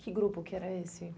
Que grupo que era esse?